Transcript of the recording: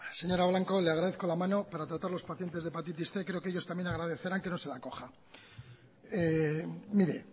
señora blanco le agradezco la mano para tratar los pacientes de hepatitis cien creo que ellos también agradecerán que no se la coja mire